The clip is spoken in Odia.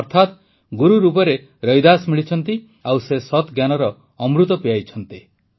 ଅର୍ଥାତ୍ ଗୁରୁ ରୂପରେ ରୈଦାସ ମିଳିଛନ୍ତି ଆଉ ସେ ସତ୍ଜ୍ଞାନର ଅମୃତ ପିଆଇଛନ୍ତି